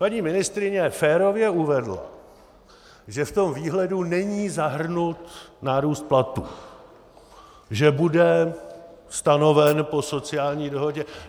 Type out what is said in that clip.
Paní ministryně férově uvedla, že v tom výhledu není zahrnut nárůst platů, že bude stanoven po sociální dohodě.